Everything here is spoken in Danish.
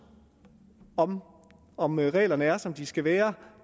om om reglerne er som de skal være